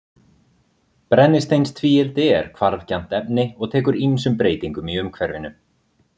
Brennisteinstvíildi er hvarfgjarnt efni og tekur ýmsum breytingum í umhverfinu.